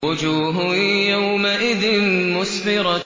وُجُوهٌ يَوْمَئِذٍ مُّسْفِرَةٌ